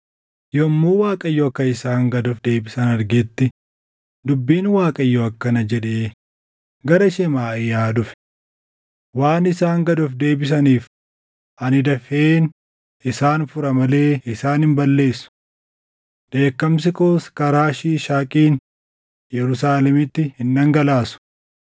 Yommuu Waaqayyo akka isaan gad of deebisan argetti, dubbiin Waaqayyoo akkana jedhee gara Shemaaʼiyaa dhufe; “Waan isaan gad of deebisaniif, ani dafeen isaan fura malee isaan hin balleessu. Dheekkamsi koos karaa Shiishaaqiin Yerusaalemitti hin dhangalaasu.